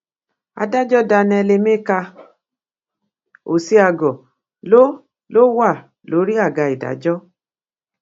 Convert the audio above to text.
adájọ daniel emeka ọsiágor ló ló wà lórí àga ìdájọ